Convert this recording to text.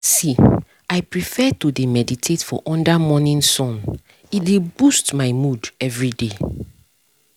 see i prefer to dey meditate for under morning sun e dey boost my mood everyday